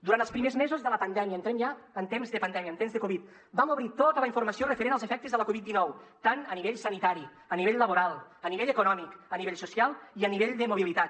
durant els primers mesos de la pandèmia entrem ja en temps de pandèmia en temps de covid vam obrir tota la informació referent als efectes de la coviddinou tant a nivell sanitari a nivell laboral a nivell econòmic a nivell social com a nivell de mobilitat